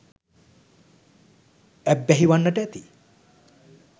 ඇබ්බැහි වන්නට ඇති.